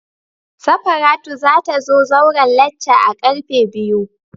Safaratu za ta zo zauren lacca a'karfe biyu.